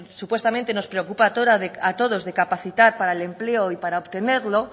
supuestamente nos preocupa a todos de capacidad para el empleo y para obtenerlo